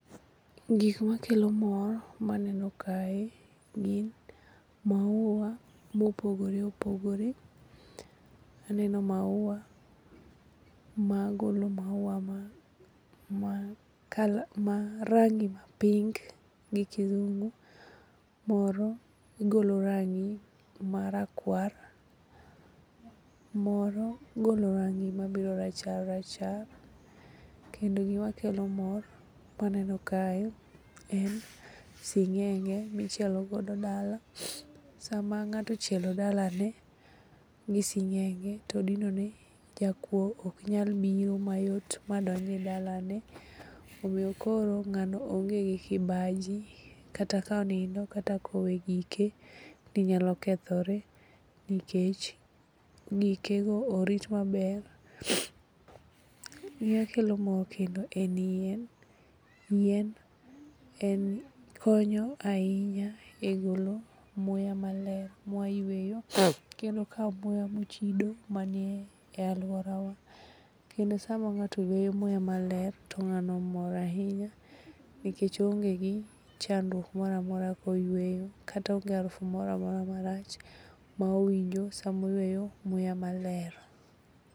Gik makelo mor maneno kae gin maua mopogore opogore. Aneno maua magolo maua ma rangi ma pink gi kizungu moro golo rangi marakwar moro golo rangi mabiro rachar rachar, kendo gima kelo mor maneno kae en sing'enge michielo go dala sama ng'ato ochielo dalane gi sing'enge to odinone jakuo ok nyal biro mayot ma donj e dalane omiyo koro ng'ano onge gi kibaji kata konindo kata kowe gike ni nyalo kethore nikech gike go orit maber. Gimakelo mor kendo en yien. Yien konyo ahinya e golo muya maler mwayueyo kendo okawo muya mochido man e alworawa kendo sama ng'ato yweyo muya maler to ng'ano mor ahinya nikech oonge gi chandruok moro amora koyweyo kata onge arufu moro amora marach ma owinjo samoyweyo muya maler.